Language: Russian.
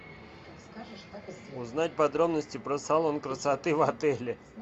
узнать подробности про салон красоты в отеле